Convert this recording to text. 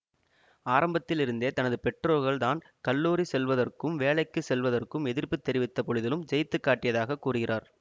ஆரம்பத்தில் இருந்தே தனது பெற்றோர்கள் தான் கல்லூரி செல்வதற்கும் வேலைக்கு செல்வதற்கும் எதிர்ப்பு தெரிவித்த பொழுதிலும் ஜெயித்து காட்டியதாக கூறுகிறார்